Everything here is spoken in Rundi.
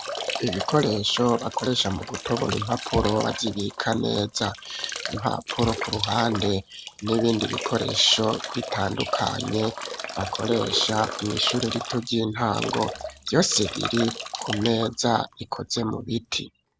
Ibikoresho bakoresha mu gutobora impapuro bazibika neza, impapuro ku ruhande n'ibindi bikoresho bitandukanye bakoresha mw'ishure rito ry'intango, vyose biri ku meza ikoze mu biti.